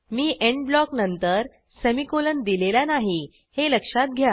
मी end block नंतर semicolon दिलेला नाही हे लक्षात घ्या